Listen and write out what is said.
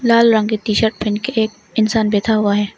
लाल रंग की T shirt पहन के एक इंसान बैठा हुआ है।